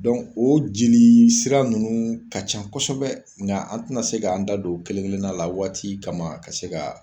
o jeli sira nunnu ka ca kɔsɔbɛ ,nga an te na se k'an da don o kelen kelen na la waati kama ka se ka